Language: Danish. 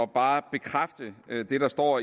bare bekræfte det der står